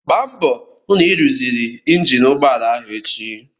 Gbaa mbọ hụ na ị ruziri injin ụgbọala ahụ echi!